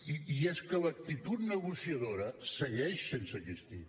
i és que l’actitud negociadora segueix sense existir